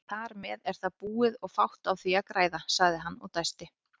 Þarmeð er það búið og fátt á því að græða, sagði hann og dæsti.